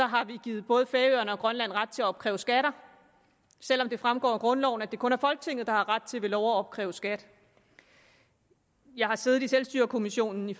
har vi givet både færøerne og grønland ret til at opkræve skatter selv om det fremgår af grundloven at det kun er folketinget der har ret til ved lov at opkræve skat jeg har siddet i selvstyrekommissionen i